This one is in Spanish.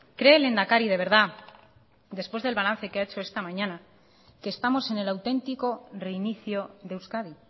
cree el lehendakari de verdad después del balance que ha hecho esta mañana que estamos en el auténtico reinicio de euskadi